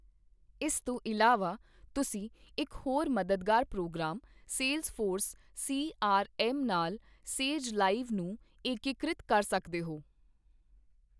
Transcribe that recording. ਇਸ ਤੋਂ ਇਲਾਵਾ, ਤੁਸੀਂ ਇੱਕ ਹੋਰ ਮਦਦਗਾਰ program Salesforce C. R. M. ਨਾਲ 'ਸੇਜ ਲਾਈਵ' ਨੂੰ ਏਕੀਕ੍ਰਿਤ ਕਰ ਸਕਦੇ ਹੋ।